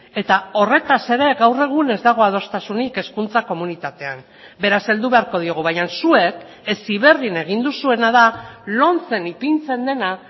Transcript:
eta horretaz ere gaur egun ez dago adostasunik hezkuntza komunitatean beraz heldu beharko diogu baina zuek heziberrin egin duzuena da lomcen ipintzen dena